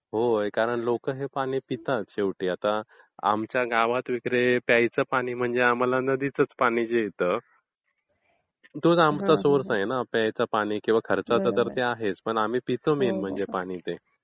होय, कारण लोकं हे पाणी पितात शेवटी. आता आमच्या गावात वगैरे प्यायचं पानी म्हणजे नदीचाच पाणी मिळते. तोच आमचा मेन सोर्स आहे ना. पितो मेन म्हणजे आम्ही ते पाणी.